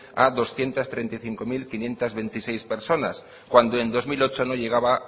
a doscientos treinta y cinco mil quinientos veintiséis personas cuando en dos mil ocho no llegaba